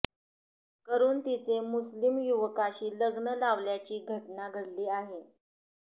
करून तिचे मुस्लिम युवकाशी लग्न लावल्याची घटना घडली आहे